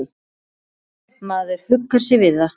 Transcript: Maður huggar sig við það.